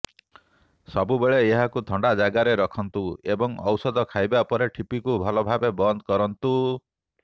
ସବୁବେଳେ ଏହାକୁ ଥଣ୍ଡା ଜାଗାରେ ରଖନ୍ତୁ ଏବଂ ଔଷଧ ଖାଇବା ପରେ ଠିପିକୁ ଭଲ ଭାବେ ବନ୍ଦ କରନ୍ତୁ